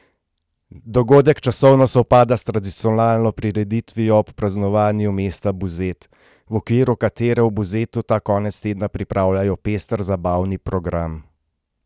Dogodek časovno sovpada s tradicionalno prireditvijo ob praznovanju mesta Buzet, v okviru katere v Buzetu ta konec tedna pripravljajo pester zabavni program.